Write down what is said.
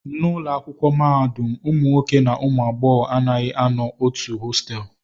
N'ụlọ akwụkwọ mahadum, ụmụ nwoke na ụmụ agbọghọ anaghị anọ n'otu hostelụ